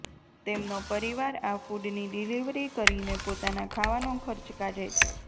તેમનો પરિવાર આ ફૂડની ડિલિવરી કરીને પોતાના ખાવાનો ખર્ચ કાઢે છે